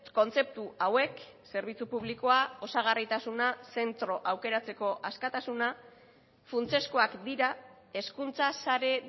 kontzeptu hauek zerbitzu publikoa osagarritasuna zentro aukeratzeko askatasuna funtsezkoak dira hezkuntza sare